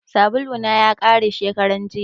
Sabulu na ya kare shekaran jiya